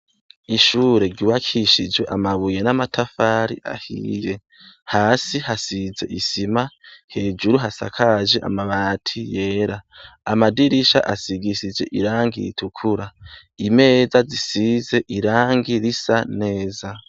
Ishure ryubakishije amabuye n'amatafari ahiye ahsi hasize isima hejuru hasakaje amabati yera amadirisha asigishije irangi ritukura imeza zisize irangi risa neza.